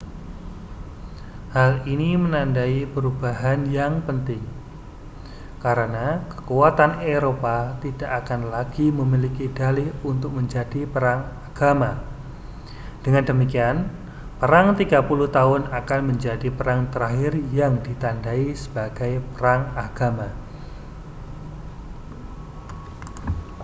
hal ini menandai perubahan yang penting karena kekuatan eropa tidak akan lagi memiliki dalih untuk menjadi perang agama dengan demikian perang tiga puluh tahun akan menjadi perang terakhir yang ditandai sebagai perang agama